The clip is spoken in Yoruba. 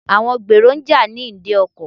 Àwọn gbèrò ń jà ní ìdí ọkọ̀.